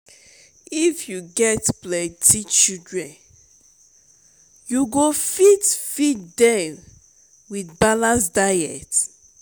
if you get plenty children you go fit feed dem wit balanced diet?